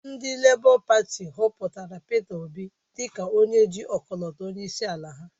Ndị Lébọ Pati họpụtara Peter Obi dịka onye ji ọkọlọtọ onyeisiala ha.